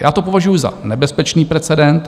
Já to považuji za nebezpečný precedens